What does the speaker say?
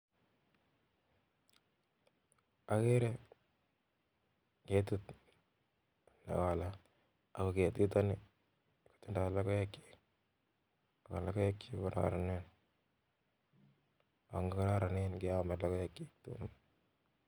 Ageere ketit ne koplat ako ketito kotindoi logoek ako logoekchi kp kararan nia ang kokararanene keame logoekchi.